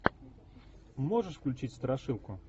можешь включить страшилку